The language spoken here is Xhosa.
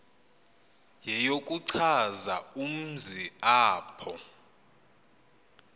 yeyokuchaza umzi apho